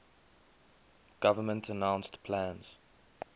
government announced plans